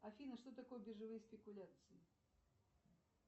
афина что такое биржевые спекуляции